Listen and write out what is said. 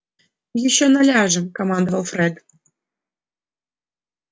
ещё наляжем командовал фред